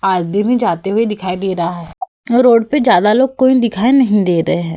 आदमी भी जाते हुए दिखाई दे रहा है। रोड पे ज्यादा लोग कोई दिखाई नहीं दे रहे हैं।